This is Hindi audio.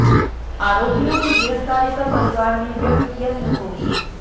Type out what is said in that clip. आरोपियों की गिरफ्तारी पर परिवार ने व्यक्त किया संतोष